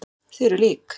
Þið eruð lík.